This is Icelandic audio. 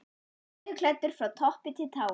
Hann var leðurklæddur frá toppi til táar.